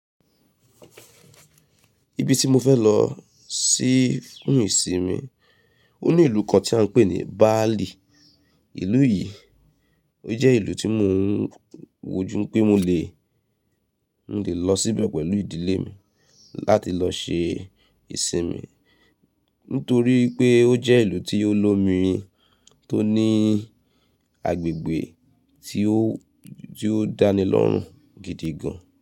Ibi tí mo fẹ́ lọ sí fún ìsinmi, ó ní ìlú kan tí a ń pè ní Bali. Ìlú yìí, ó jẹ́ ìlú tí mo ń wojú pé mo lè, mo lè lọ síbẹ̀ pẹ̀lú ìdílé mi láti lọ ṣe ìsinmi. Nítorí pé ó jẹ́ ìlú tí ó lomi, tó ní agbègbè tí ó, tí ó dánilọ́rùn gidi gan.